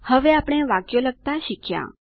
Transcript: હવે આપણે વાક્યો લખતા શીખ્યા